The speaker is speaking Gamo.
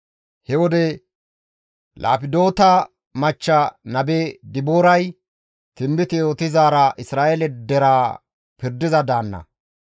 He wode Laapidota machcha nabe Dibooray tinbite yootizaara Isra7eele deraa pirdiza daanna.